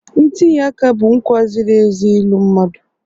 Ntinye aka bụ nkwa ziri ezi ịlụ mmadụ..